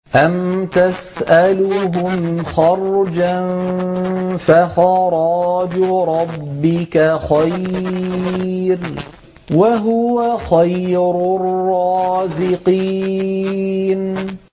أَمْ تَسْأَلُهُمْ خَرْجًا فَخَرَاجُ رَبِّكَ خَيْرٌ ۖ وَهُوَ خَيْرُ الرَّازِقِينَ